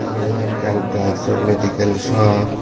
eyan ekkan drag so madical shop.